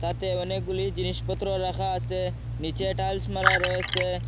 তাতে অনেকগুলি জিনিসপত্র রাখা আছে নিচে টাইলস মারা রয়েছে।